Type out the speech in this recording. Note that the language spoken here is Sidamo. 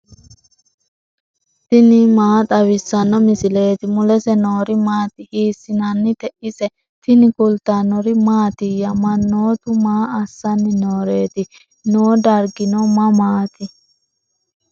tini maa xawissanno misileeti ? mulese noori maati ? hiissinannite ise ? tini kultannori mattiya? Mannoottu maa assanni nooreetti? Noo dariginno mamaatti?